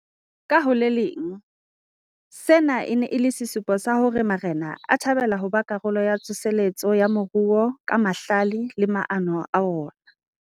Ka ho le leng, sena e ne e le sesupo sa hore marena a thabela ho ba karolo ya tsoseletso ya moruo ka mahlale le maano a ona.